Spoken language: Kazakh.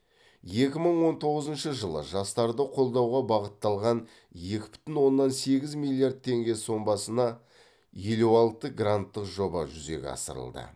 екі мың он тоғызыншы жылы жастарды қолдауға бағытталған екі бүтін оннан сегіз миллиард теңге сомасына елу алты гранттық жоба жүзеге асырылды